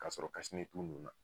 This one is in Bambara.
Ka sɔrɔ tun nun na.